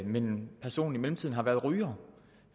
men hvor personen i mellemtiden har været ryger